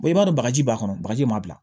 i b'a dɔn bagaji b'a kɔnɔ bagaji m'a bila